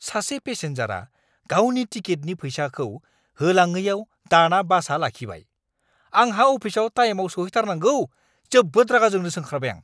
सासे पेसेनजारआ गावनि टिकेटनि फैसाखौ होलाङैआव दाना बासआ लाखिबाय। आंहा अफिसआव टाइमआव सौहैथारनांगौ, जोबोद रागा जोंनोसो ओंखारबाय आं!